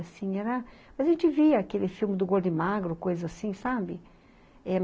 Assim, era, a gente via aquele filme do Gordo e Magro, coisa assim, sabe? Eh